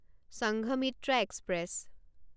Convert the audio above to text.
Sanghamitra express